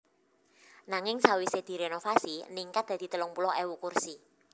Nanging sawisé dirénovasi ningkat dadi telung puluh ewu kursi